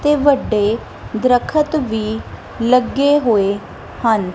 ਤੇ ਵੱਡੇ ਦਰੱਖਤ ਵੀ ਲੱਗੇ ਹੋਏ ਹਨ।